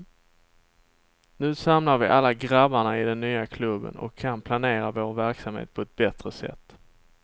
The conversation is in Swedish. Nu samlar vi alla grabbarna i den nya klubben och kan planera vår verksamhet på ett bättre sätt.